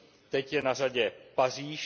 Teď je na řadě Paříž.